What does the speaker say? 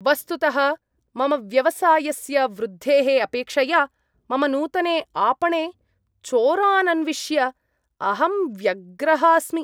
वस्तुतः मम व्यवसायस्य वृद्धेः अपेक्षया, मम नूतने आपणे चोरान् अन्विष्य अहं व्यग्रः अस्मि।